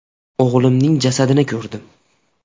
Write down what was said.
O‘g‘limning jasadini ko‘rdim.